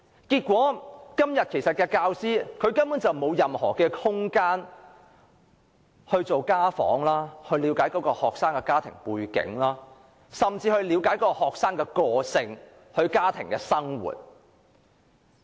結果，教師根本沒有空閒進行家訪，藉以了解學生的家庭背景，甚至是學生的個性和家庭生活。